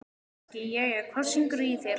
Maggi: Jæja, hvað syngur í þér?